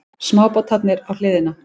Smábátarnir á hliðina.